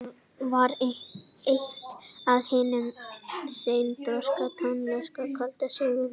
hann var eitt af hinum seinþroska tónskáldum sögunnar